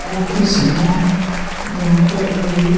office है जहाँ पर अभी --